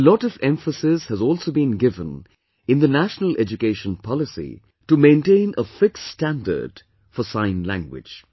A lot of emphasis has also been given in the National Education Policy to maintain a fixed standard for Sign Language